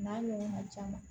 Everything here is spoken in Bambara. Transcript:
N'a ɲɔgɔnna caman